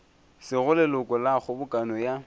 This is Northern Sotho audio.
sego leloko la kgobokano ya